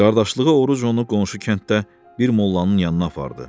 Qardaşlığı Oruc onu qonşu kənddə bir mollanın yanına apardı.